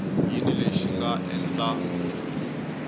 yini lexi xi nga endla